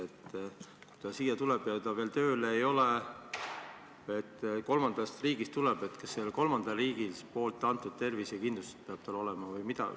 Aga kui ta tuleb siia kolmandast riigist ja ta veel tööl ei ole, siis kas selle kolmanda riigi antud tervisekindlustus peab tal olema?